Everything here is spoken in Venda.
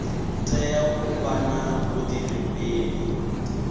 tea u vha na vhuḓifhinduleli